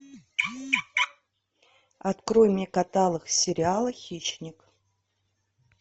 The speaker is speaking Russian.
открой мне каталог сериала хищник